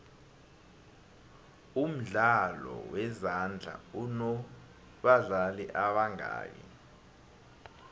umdlalo wezandla unobadlali ebangaki